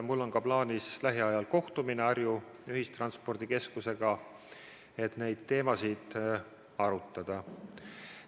Mul on ka plaanis lähiajal kohtumine Põhja-Eesti Ühistranspordikeskusega, et neid teemasid arutada.